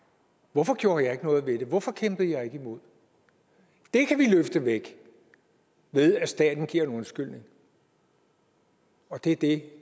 hvorfor gjorde jeg ikke noget ved det hvorfor kæmpede jeg ikke imod det kan vi løfte væk ved at staten giver en undskyldning og det er det